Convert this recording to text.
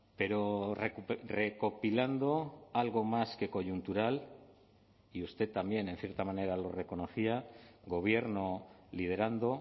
pero recopilando algo más que coyuntural y usted también en cierta manera lo reconocía gobierno liderando